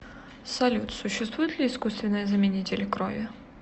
салют существуют ли искусственные заменители крови